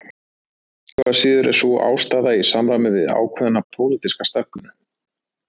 Engu að síður er sú ástæða í samræmi við ákveðna pólitíska stefnu